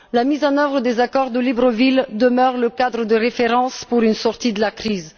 La mise en œuvre des accords de Libreville demeure le cadre de référence pour une sortie de la crise.